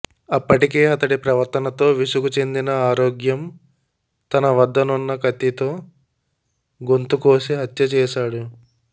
అప్పటికే అతడి ప్రవర్తనతో విసుగు చెందిన ఆరోగ్యం తన వద్దనున్న కత్తితో గొంతు కోసి హత్య చేశాడు